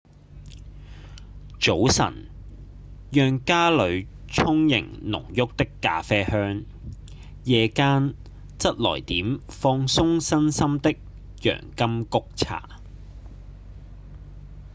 早晨讓家裡充盈濃郁的咖啡香夜間則來點放鬆身心的洋甘菊茶